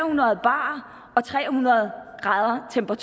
hundrede bar og tre hundrede grader